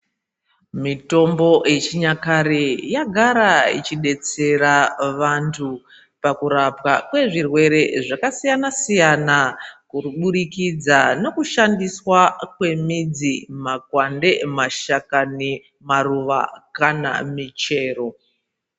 Mitombo yechinyakare yagara ichidetsera vantu pakurapa kwezvirwere zvakasiyana siyana mukuburikidza nekushadiswa kwe midzi makwande mashakani maruva kana michero.